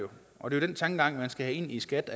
og det den tankegang man skal have ind i skat